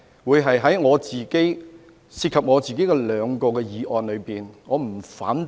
為何我昨天在涉及我個人的兩項議案不提出反對呢？